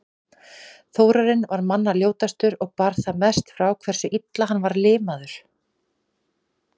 Þórarinn var manna ljótastur og bar það mest frá hversu illa hann var limaður.